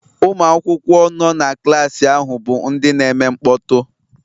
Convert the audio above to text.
Ụmụ akwụkwọ nọ na klaasị ahụ bụ ndị na-eme mkpọtụ